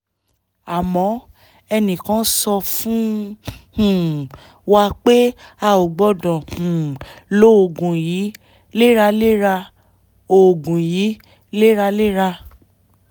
àmọ́ ẹnìkan sọ fún um wa pé a ò gbọ́dọ̀ um lo oògùn yìí léraléra oògùn yìí léraléra